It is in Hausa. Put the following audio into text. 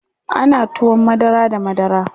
ana tuwon madara da madara